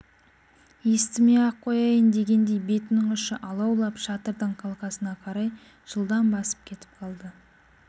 естімей-ақ қояйын дегендей бетінің ұшы алаулап шатырдың қалқасына қарай жылдам басып кетіп қалды